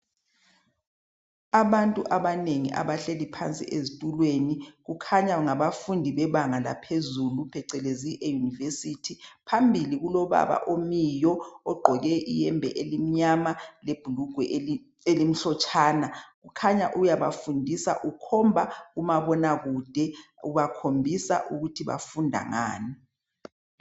Abantu abanengi abahleli phansi ezitulweni kukhanya ngabafundi bebanga laphezulu phecelezi eyunivesithi. Phambili kulobaba omiyo ogqoke iyembe emnyama lebhulugwe elimhlotshana kukhanya uyabafundisa ukhomba kumabonakude. Ubakhombisa ukuthi bafunda ngani.